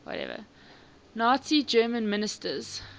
nazi germany ministers